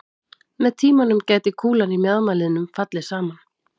Með tímanum gæti kúlan í mjaðmarliðnum fallið saman.